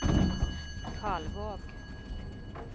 Kalvåg